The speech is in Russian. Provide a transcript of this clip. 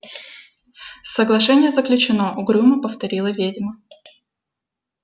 соглашение заключено угрюмо повторила ведьма